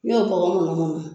N y'o tɔgɔ mununmunun